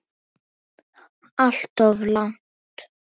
Alltof langt.